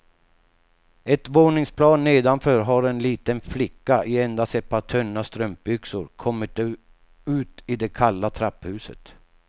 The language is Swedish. Ett våningsplan nedanför har en liten flicka i endast ett par tunna strumpbyxor kommit ut i det kalla trapphuset.